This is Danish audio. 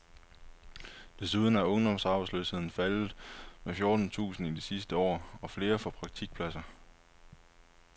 Desuden er ungdomsarbejdsløsheden faldet med fjorten tusind i det sidste år, og flere får praktikpladser.